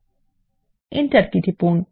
এবং enter key টিপুন